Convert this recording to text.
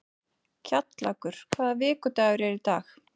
Kjallakur, hvaða vikudagur er í dag?